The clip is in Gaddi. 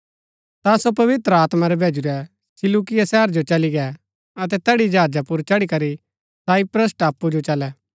ता सो पवित्र आत्मा रै भैजुरै सिलूकिया शहर जो चली गै अतै तैड़ी जहाजा पुर चढ़ी करी साइप्रस टापू जो चलै